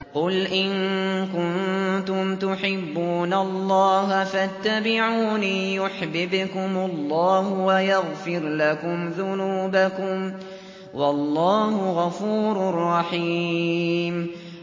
قُلْ إِن كُنتُمْ تُحِبُّونَ اللَّهَ فَاتَّبِعُونِي يُحْبِبْكُمُ اللَّهُ وَيَغْفِرْ لَكُمْ ذُنُوبَكُمْ ۗ وَاللَّهُ غَفُورٌ رَّحِيمٌ